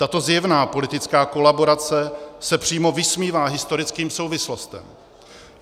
Tato zjevná politická kolaborace se přímo vysmívá historickým souvislostem.